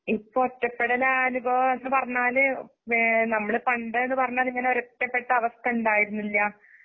ഇപ്പഒറ്റപെടലാനുഭവെന്ന്പറഞ്ഞാല് വേ നമ്മള്പണ്ടെന്ന്പറഞ്ഞാല് ഇങ്ങനെയൊരൊറ്റപ്പെട്ടഅവസ്ഥയുണ്ടായിരുന്നില്ല.